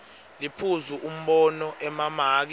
liphuzu umbono emamaki